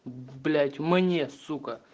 блять мне сука